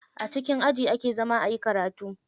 A cikin aji ake zama ayi karatu.